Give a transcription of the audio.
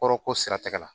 Kɔrɔ ko sira tɛgɛ la